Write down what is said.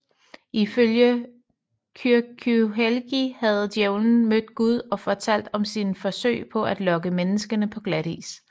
Ifølge Kyrkjuhelgi havde djævelen mødt Gud og fortalt om sine forsøg på at lokke menneskene på glatis